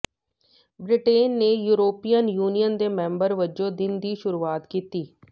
Britain ਨੇ European Union ਦੇ member ਵਜੋਂ ਦਿਨ ਦੀ ਸ਼ੁਰੂਆਤ ਕੀਤੀ